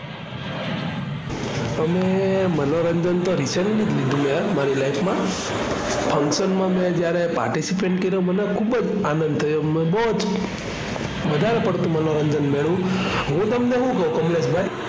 અમે મનોરંજન તો recently જ લીધું મે મારી life માં function માં મે જ્યારે participate કર્યું મને ખૂબ જ આનંદ થયો, બહુ જ વધારે પડતું મનોરંજન મળ્યું. હું તમને શું કવ કમલેશભાઈ